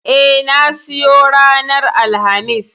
E, na siyo ranar Alhamis.